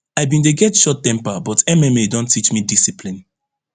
i bin dey get short temper but mma don teach me discipline